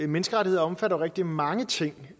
menneskerettigheder omfatter jo rigtig mange ting